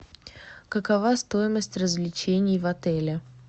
какова стоимость развлечений в отеле